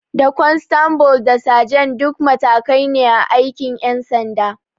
Da kwanstabul da sajan duk matakai ne a aikin ƴan sanda